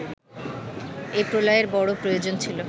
এ প্রলয়ের বড় প্রয়োজন ছিল